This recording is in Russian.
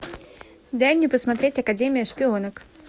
дай мне посмотреть академия шпионок